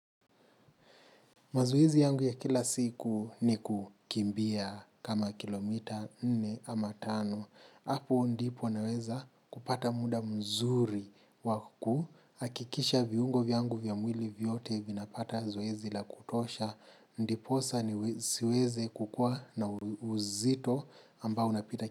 Mazoezi yangu ya kila siku, ni kukimbia kama kilo mita nne ama tano. Hapo ndipo naweza kupata muda mzuri wa ku. Akikisha viungo vyangu vya mwili vyote vinapata zoezi la kutosha. Ndiposa siwezi kukua na uzito ambao unapita.